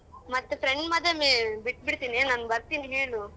ಮತ್ತೆ friend ಮದ್ವೆ ಬಿಟ್ ಬಿಡ್ತೀನೆ, ನನ್ ಬರ್ತಿನಿ ಹೇಳು.